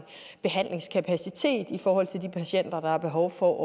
behandlingskapacitet i forhold til de patienter der har behov for